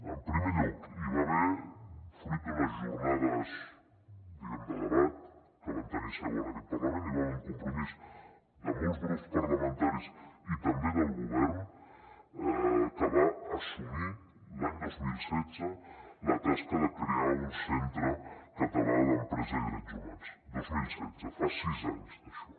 en primer lloc hi va haver fruit d’unes jornades de debat que van tenir seu en aquest parlament un compromís de molts grups parlamentaris i també del govern que va assumir l’any dos mil setze la tasca de crear un centre català d’empresa i drets humans dos mil setze fa sis anys d’això